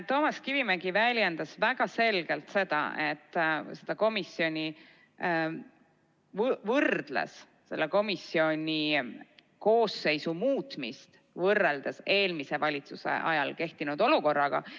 Toomas Kivimägi väljendus väga selgelt ja ta võrdles selle komisjoni koosseisu muutmist eelmise valitsuse ajal kehtinud olukorraga.